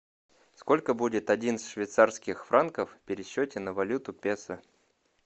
сколько будет одиннадцать швейцарских франков в пересчете на валюту песо